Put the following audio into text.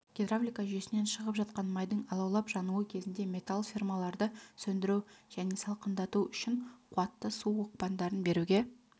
гидравлика жүйесінен шығып жатқан майдың алаулап жануы кезінде металл фермаларды сөндіру және салқындату үшін қуатты су оқпандарын беруге